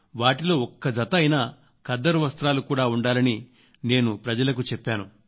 వాటిలో ఒక జత అయినా ఖద్దరు వస్త్రాలు కూడా ఉండాలని నేను ప్రజలకు చెప్పాను